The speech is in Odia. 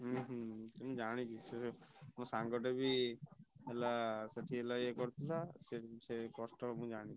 ହଁ ମୁଁ ଜାଣିଛି ମୋ ସାଙ୍ଗଟା ବି ହେଲା ସେଠି ହେଲା ୟେ କରୁଥିଲା ସେ କଷ୍ଟ ମୁଁ ଜାଣିଛି।